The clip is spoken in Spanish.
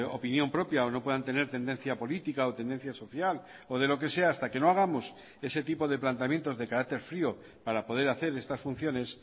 opinión propia o no puedan tener tendencia política o tendencia social o de lo que sea hasta que no hagamos ese tipo de planteamientos de carácter frío para poder hacer estas funciones